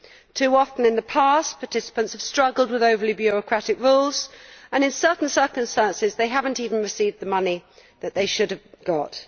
Too often in the past, participants have struggled with over bureaucratic rules, and in some cases they have not even received money that they should have got.